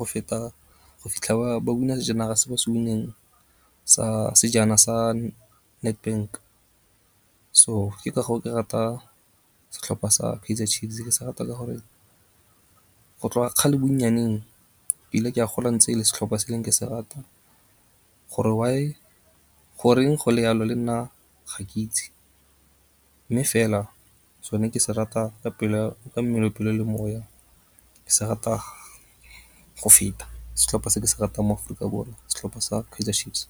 go feta go fitlha ba winner sejana se ba se win-neng sa sejana sa Nedbank. So ke ka goo ke rata setlhopha sa Kaizer Chiefs ke se rata ka gore go tloga kgale bonnyaneng ile ke a gola ntse e le setlhopha se leng kgale ke se rata gore why, goreng go le yalo le nna ga ke itse mme fela sone ke se rata ka mmele, pelo le moya, ke sa rata go feta setlhopha se ke se ratang mo Aforika Borwa setlhopha sa Kaizer Chiefs.